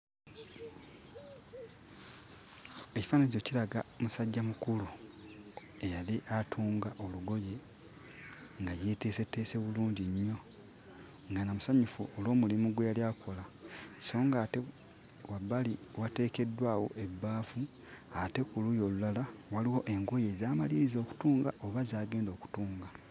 Ekifananyi kino kiraga musajjamukulu eyali atunga olugoye nga yeeteeseteese bulungi nnyo nga na musanyufu olw'omulimu gwe yali akola. So ng'ate wabbali wateekeddwawo ebbaafu ate ku luuyi olulala waliwo engoye z'amaliriza okutunga oba z'agenda okutunga.